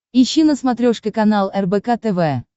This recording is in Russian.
ищи на смотрешке канал рбк тв